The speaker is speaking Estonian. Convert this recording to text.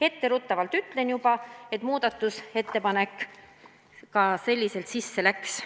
Etteruttavalt ütlen ära, et muudatusettepanek läks sellisel kujul ka sisse.